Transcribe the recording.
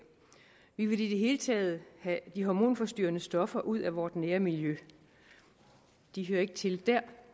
vi vil i det hele taget have de hormonforstyrrende stoffer ud af vort nærmiljø de hører ikke til der